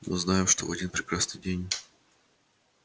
мы знаем что в один прекрасный день